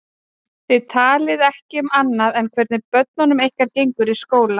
Þið talið ekki um annað en hvernig börnunum ykkar gengur í skóla.